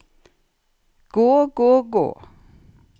gå gå gå